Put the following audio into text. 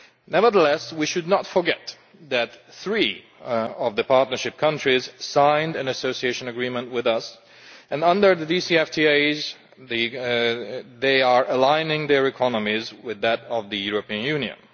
Nevertheless, we should not forget that three of the partnership countries signed an Association Agreement with us and under the DCFTAs, they are aligning their economies with that of the European Union.